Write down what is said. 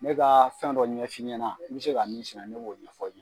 N bɛ ka fɛn dɔ ɲɛf'i ɲɛna n bɛ se ka min sɛnɛ ne b'o ɲɛfɔ